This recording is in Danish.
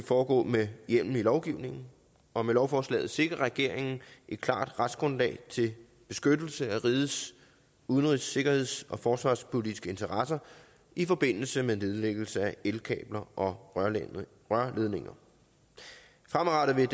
foregå med hjemmel i lovgivningen og med lovforslaget sikrer regeringen et klart retsgrundlag til beskyttelse af rigets udenrigs sikkerheds og forsvarspolitiske interesser i forbindelse med nedlæggelse af elkabler og rørledninger fremadrettet vil